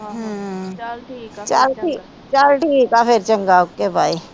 ਚਲ ਠੀਕ ਆ ਚੰਗਾ ਫੇਰ ਓਕੇ ਬਾਏ